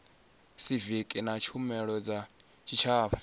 siviki na tshumelo dza tshitshavha